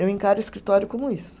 Eu encaro o escritório como isso.